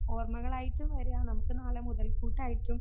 ഓർമ്മകളായിട്ടും വരിക. നാളെ മുതൽ കൂട്ടായിട്ടും